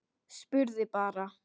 Spurði bara.